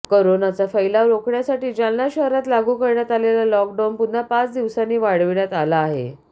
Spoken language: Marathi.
कोरोनाचा फैलाव रोखण्यासाठी जालना शहरात लागू करण्यात आलेल्या लॉकडाउन पुन्हा पाच दिवसांनी वाढविण्यात आला आहे